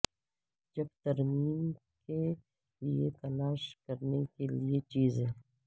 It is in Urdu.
جب ترمیم کے لئے تلاش کرنے کے لئے چیزیں